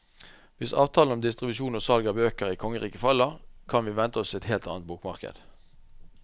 Hvis avtalen om distribusjon og salg av bøker i kongeriket faller, kan vi vente oss et helt annet bokmarked.